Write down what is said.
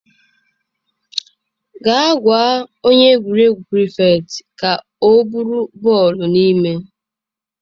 Gaa gwa onye egwuregwu prịfektịị ka ọ buru bọọlụ n'ime.